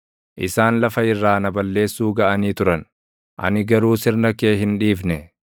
Isaan lafa irraa na balleessuu gaʼanii turan; ani garuu sirna kee hin dhiifne.